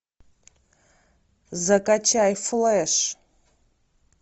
закачай флэш